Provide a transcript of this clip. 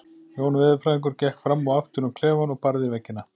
Jón veðurfræðingur gekk fram og aftur um klefann og barði í veggina.